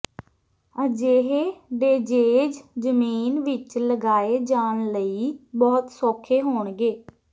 ਅਜਿਹੇ ਡੇਜੇਜ ਜ਼ਮੀਨ ਵਿਚ ਲਗਾਏ ਜਾਣ ਲਈ ਬਹੁਤ ਸੌਖੇ ਹੋਣਗੇ